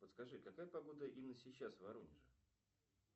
подскажи какая погода именно сейчас в воронеже